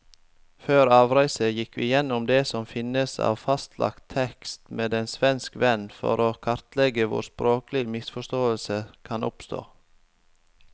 Før avreise gikk vi gjennom det som finnes av fastlagt tekst med en svensk venn, for å kartlegge hvor språklige misforståelser kan oppstå.